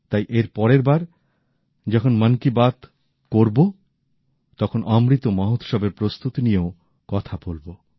তাই এর পরের বার যখন মন কি বাত করব তখন অমৃত মহোৎসবের প্রস্তুতি নিয়েও কথা বলব